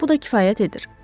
Bu da kifayət edir.